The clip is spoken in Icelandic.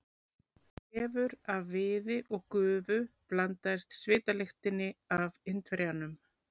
Þefur af viði og gufu blandaðist svitalyktinni af Indverjanum.